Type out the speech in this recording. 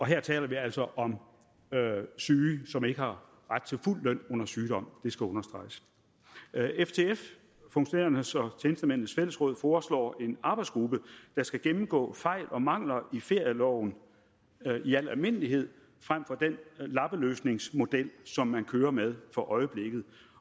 her taler vi altså om syge som ikke har ret til fuld løn under sygdom det skal understreges ftf funktionærernes og tjenestemændenes fællesråd foreslår en arbejdsgruppe der skal gennemgå fejl og mangler i ferieloven i al almindelighed frem for den lappeløsningsmodel som man kører med for øjeblikket